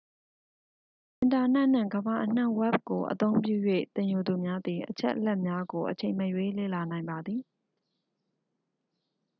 အင်တာနက်နှင့် ကမ္ဘာအနှံ ဝက်ဘ် ကို အသုံးပြု၍ သင်ယူသူများသည် အချက်အလက်များကို အချိန်မရွေး လေ့လာနိုင်ပါသည်